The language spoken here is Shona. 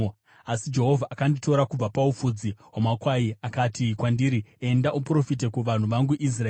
Asi Jehovha akanditora kubva paufudzi hwamakwai akati kwandiri, ‘Enda uprofite kuvanhu vangu Israeri.’